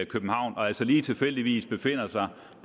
københavn og altså lige tilfældigvis befandt sig